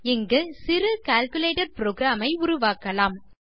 இங்கு சிறு calculator program ஐ உருவாக்கலாம்